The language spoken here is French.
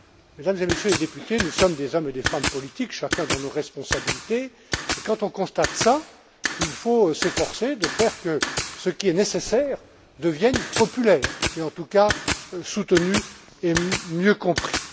Mesdames et Messieurs les députés, nous sommes des hommes et des femmes politiques, chacun dans nos responsabilités, et quand on constate cela, il faut s'efforcer de faire que ce qui est nécessaire devienne populaire et, en tout cas, soutenu et mieux compris.